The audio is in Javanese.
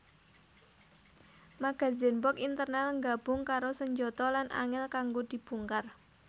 Magazen box internal nggabung karo senjata lan angel kanggo dibongkar